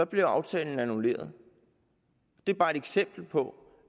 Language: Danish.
blev aftalen annulleret det er bare et eksempel hvor